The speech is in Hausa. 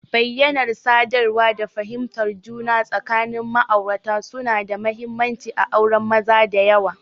Bayyanar sadarwa da fahimtar juna tsakanin ma'aurata suna da mahimmanci a auren maza da yawa.